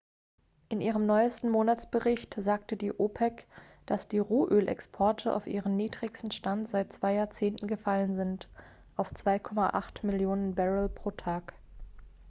in ihrem neuesten monatsbericht sagte die opec dass die rohölexporte auf ihren niedrigsten stand seit zwei jahrzehnten gefallen sind auf 2,8 millionen barrel pro tag